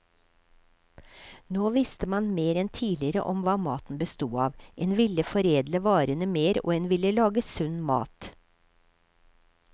Nå visste man mer enn tidligere om hva maten bestod av, en ville foredle varene mer, og en ville lage sunn mat.